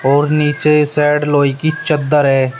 और नीचे साइड लोहे की चद्दर है।